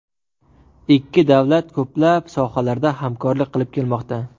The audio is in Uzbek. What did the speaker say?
Ikki davlat ko‘plab sohalarda hamkorlik qilib kelmoqda.